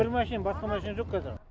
бір машинем басқа машине жоқ кәзір